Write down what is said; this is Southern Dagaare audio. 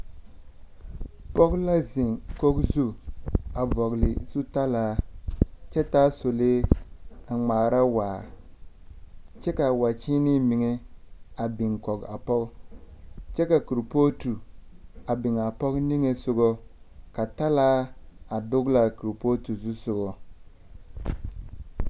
Pɔg la zeŋ kog zu a vɔgele zutalaa kyɛ taa sɔlee a ŋmaara waa, kyɛ kaa wakyeenee miŋe a biŋ kɔg a pɔg, kyɛ ka kurpootu a biŋ a pɔg niŋesogɔ ka talaa a dogelaa kurpooti zusogɔ.